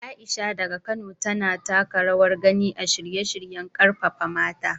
Aisha, daga Kano, tana taka rawar gani a shirye-shiryen karfafa mata.